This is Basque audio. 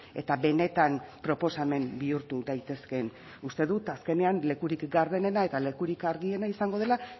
eta benetan proposamen bihurtu daitezkeen uste dut azkenean lekurik gardenena eta lekurik argiena izango dela